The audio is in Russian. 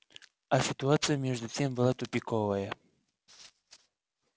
а ситуация между тем была тупиковая